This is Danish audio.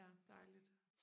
ja dejligt